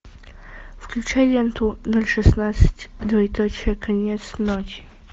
включай ленту ноль шестнадцать двоеточие конец ночи